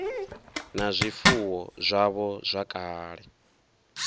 na zwifuwo zwavho zwa kale